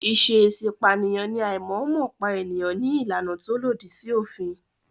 Ìṣèèṣi pààyàn ní àìmọ̀ọ́mọ̀ pípa èèyàn ní làànà tó lòdì sí òfin.